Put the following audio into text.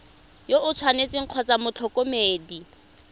yo o tshwanetseng kgotsa motlhokomedi